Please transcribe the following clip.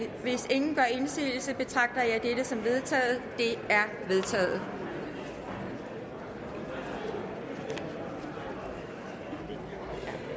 hvis ingen gør indsigelse betragter jeg dette som vedtaget det er vedtaget